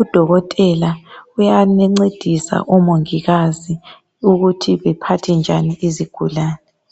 udokotela uyancedisa o mongikazi ukuthi kumele baphathe njani izigulane